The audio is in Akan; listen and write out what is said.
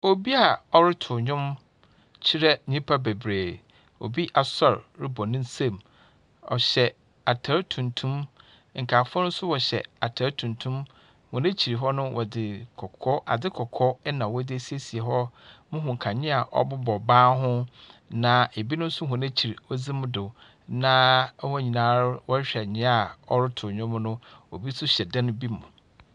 Obi a ɔreto nwom kyerɛ nnipa bebree. Obi asor rebɔ ne nsam. Ɔhyɛ atar tumtum. Nkaeɛfo no nso hyɛ ataade tuntum. Wɔ akyire hɔ no wɔdze ade kɔkɔɔ ɛna wɔde asiesie hɔ. Nkanea a wɔbobɔ dan ho na ebinom nso wɔ n'akyiri kɔdzi anim na wɔn nyinaa ara rehwɛ nea ɔreto nwom no. Obi nso hyɛ dan bi mu.